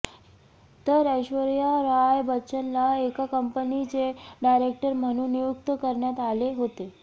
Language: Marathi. तर ऐश्वर्या राय बच्चनला एका कंपनीचे डायरेक्टर म्हणून नियुक्त करण्यात आले होते